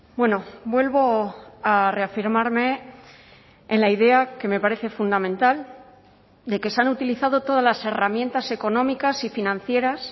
bueno vuelvo a reafirmarme en la idea que me parece fundamental de que se han utilizado todas las herramientas económicas y financieras